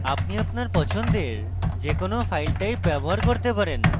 আপনি আপনার পছন্দের যে কোনো file type ব্যবহার করতে পারেন